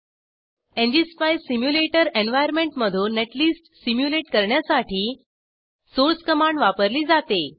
ngspice simulator एन्वार्यनमेंटमधून netlist simulate करण्यासाठी source command वापरली जाते